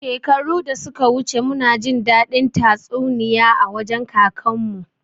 Shekaru da suka wuce muna jin daɗin tatsuniya a wajen kakan mu